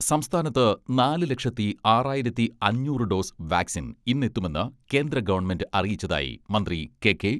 സംസ്ഥാനത്ത് നാല് ലക്ഷത്തി ആറായിരത്തി അഞ്ഞൂറ് ഡോസ് വാക്സിൻ ഇന്ന് എത്തുമെന്ന് കേന്ദ്ര ഗവൺമെന്റ് അറിയിച്ചതായി മന്ത്രി കെ.കെ.